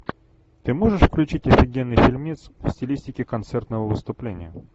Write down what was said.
ты можешь включить офигенный фильмец в стилистике концертного выступления